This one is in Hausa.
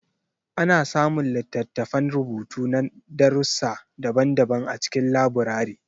Ana samun littattafan rubutu na darussi daban-daban a cikin laburare.